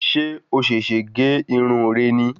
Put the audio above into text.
Ṣé o sèsè gé irun re ni?